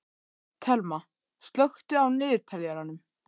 Thelma, slökktu á niðurteljaranum.